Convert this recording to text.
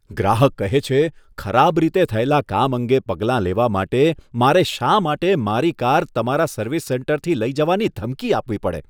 ગ્રાહક કહે છે, ખરાબ રીતે થયેલા કામ અંગે પગલાં લેવા માટે મારે શા માટે મારી કાર તમારા સર્વિસ સેન્ટરથી લઈ જવાની ધમકી આપવી પડે?